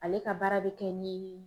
Ale ka baara bɛ kɛ ni